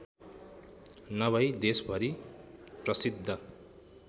नभई देशभरी प्रसिद्ध